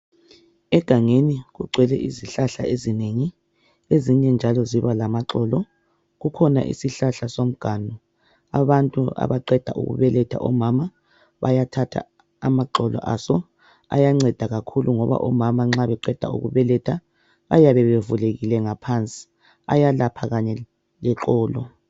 Egangeni kugcwele izihlahla ezinengi ezinye njalo ziba lamaxolo kukhona isihlahla somganu abantu abaqeda ukubeletha omama bayathatha amaxolo aso ayanceda kakhulu ngoba omama nxa beqeda ukubeletha bayabe bevulekile ngaphansi ayalapha kanye leqolo.